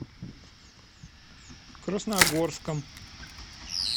красногорском